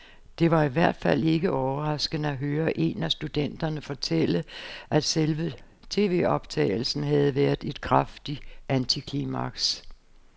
Det var i hvert fald ikke overraskende at høre en af studenterne fortælle, at selve tvoptagelsen havde været et kraftigt antiklimaks.